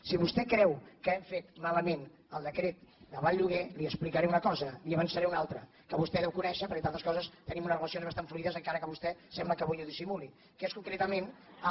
si vostè creu que hem fet malament el decret d’aval lloguer li explicaré una cosa i li n’avançaré una altra que vostè deu conèixer perquè entre altres coses tenim unes relacions bastants fluides encara que vostè sembla que avui ho dissimuli que és concretament el